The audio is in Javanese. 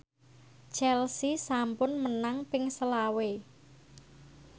Chelsea sampun menang ping selawe